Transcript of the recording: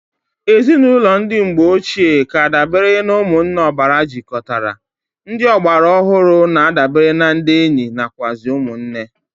Ezinụlọ ndi mgbe ochi k'adabere na umunne obara jikotara, ndị ọgbara ọhụrụ na adabere na ndi enyi nakwuazi umu nne.